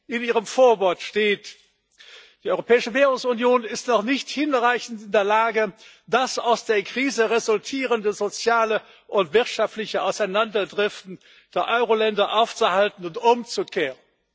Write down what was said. In Ihrem Vorwort steht Die Europäische Währungsunion ist noch nicht hinreichend in der Lage, das aus der Krise resultierende soziale und wirtschaftliche Auseinanderdriften der Euroländer aufzuhalten und umzukehren.